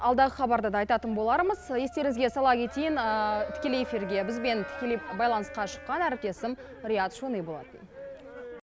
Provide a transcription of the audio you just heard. алдағы хабарда да айтатын болармыз естеріңізге сала кетейін тікелей эфирге бізбен тікелей байланысқа шыққан әріптесім риат шони болатын